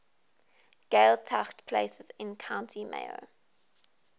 gaeltacht places in county mayo